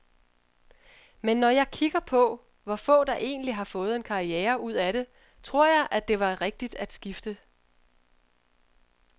Men når jeg kigger på, hvor få der egentlig har fået en karriere ud af det, tror jeg, at det var rigtigt at skifte.